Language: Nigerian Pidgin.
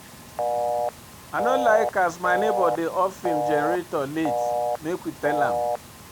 I no like as my nebor dey off im generator late, make we tell am.